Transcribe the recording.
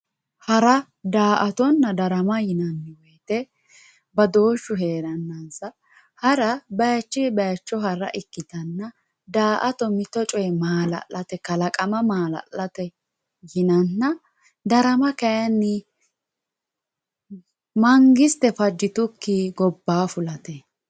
Hara daa`atona darama yinaniwoyite badooshu nooha ikana hara bayichi bayicho hara ikitanna daa`ato mito coyi maalalate kalaqama maalalate yinana darama kayini mangite fajitukii gobaa fulate